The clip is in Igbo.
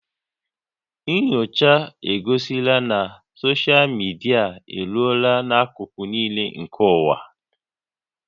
Nnyocha egosila na soshal midia eruola n'akụkụ niile nke ụwa